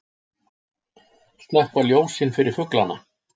Slökkva ljósin fyrir fuglana